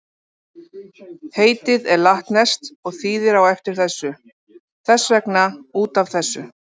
Heitið er latneskt og þýðir á eftir þessu, þess vegna út af þessu.